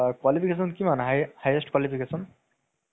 হয় । আৰু